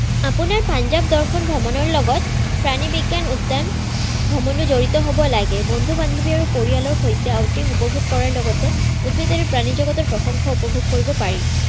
আপোনাৰ পাঞ্জাৱ দৰ্শন ভ্ৰমণৰ লগত প্ৰাণী-বিজ্ঞান উদ্যান ভ্ৰমণো জড়িত হব লাগে, বন্ধু-বান্ধৱী আৰু পৰিয়ালৰ সৈতে উপভোগ কৰাৰ লগতে উদ্ভিদ আৰু প্ৰাণীজগতৰ প্ৰসংগ উপভোগ কৰিব পাৰি।